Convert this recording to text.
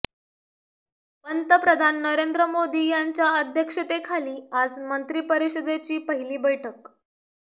पंतप्रधान नरेंद्र मोदी यांच्या अध्यक्षतेखाली आज मंत्री परिषदेची पहिली बैठक